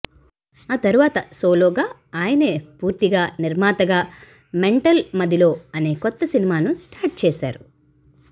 ఆ తరువాత సోలోగా ఆయనే పూర్తిగా నిర్మాతగా మెంటల్ మదిలో అనే కొత్త సినిమాను స్టార్ట్ చేసాడు